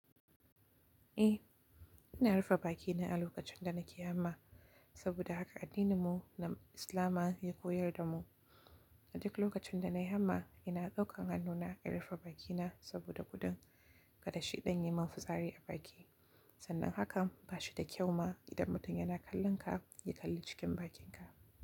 Eh, ina rufe bakina a lokacin da nake hama saboda haka addininmu na Islama ya koyar da mu. A duk lokacin da na yi hamma, ina ɗaukan hannuna in rufe bakina saboda gudun kada shiɗan yi mafitsari a baki. Sannan hakan ba shi da kyau ma idan mutum yana kallon ka, ya kalli cikin bakinka.